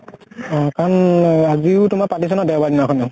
অ কাৰণ অহ আজিও তোমাৰ পাতিছে ন দেউবাৰ দিনা খিনেও।